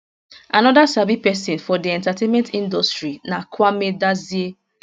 anoda sabi pesin for di entertainment industry na kwame dadzie